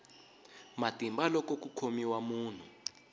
matimba loko ku khomiwa munhu